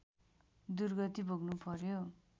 दुर्गति भोग्नुपर्‍यो